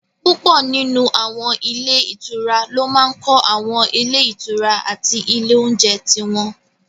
Púpọ̀ nínú àwọn ilé ìtura ló máa n kọ́ àwọn ilé ìtura àti ilé oúnjẹ tí wọ́n